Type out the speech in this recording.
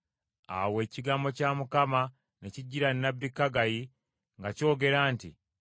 Awo ekigambo kya Mukama ne kijjira nnabbi Kaggayi nga kyogera nti;